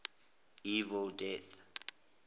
evil dead